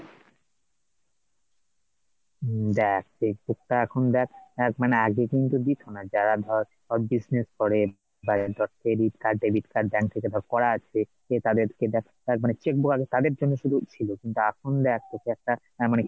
দেখ cheque book টা এখন দেখ দেখ আগে কিন্তু দিতো না যারা ধর, business করে বা credit card , debit card ,bank থেকে সব করা আছে cheque book তাদের জন্য শুধু ছিল কিন্তু এখন দেখ কিছু একটা মানে!